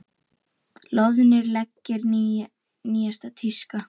Loðnir leggir nýjasta tíska